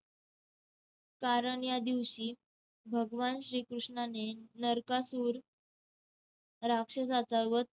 कारण या दिवशी भगवान श्रीकृष्णाने नरकासुर राक्षसाचा वध